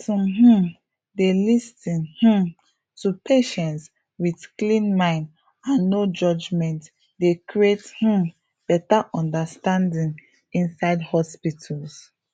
to um dey lis ten um to patients with clean mind and no judgement dey create um better understanding inside hospitals